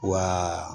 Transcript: Wa